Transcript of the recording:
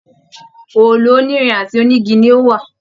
Òòlù onírin àti onigi ni ó wà.